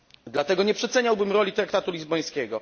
Dlatego nie przeceniałbym roli traktatu lizbońskiego.